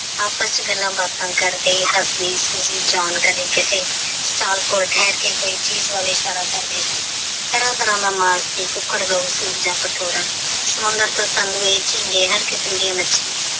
ਆਪਸ ਵਿੱਚ ਗੱਲਾਂ ਬਾਤਾਂ ਕਰਦੇ ਹੱਸਦੇ ਸੂਜੀ ਜਾਣਕਾਰੀ ਜਿੱਥੇ ਸਟਾਲ ਕੋਲ ਠਹਿਰ ਕੇ ਕੋਈ ਚੀਜ ਵੱਲ ਇਸ਼ਾਰਾ ਕਰਦੇ ਸੀ ਤਰ੍ਹਾਂ ਤਰ੍ਹਾਂ ਦਾ ਮਾਲ ਸੀ ਹਰ ਕਿਸਮ ਦੀਆ ਮਛਲੀਆਂ।